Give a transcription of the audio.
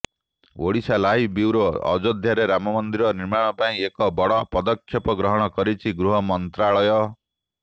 Odisha live bureau ଅଯୋଧ୍ୟାରେ ରାମ ମନ୍ଦିର ନିର୍ମାଣ ପାଇଁ ଏକ ବଡ଼ ପଦକ୍ଷେପ ଗ୍ରହଣ କରିଛି ଗୃହ ମନ୍ତ୍ରାଳୟ